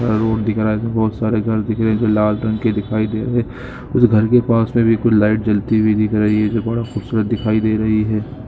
Road दिख रहा है जिसमे बहुत सारे घर दिख रहे है जो लाल रंग के दिखाई दे रहे उस घर के पास मे भी कुछ लाइट जलती हुई दिख रही है जो बड़ा खूबसूरत दिखाई दे रही है।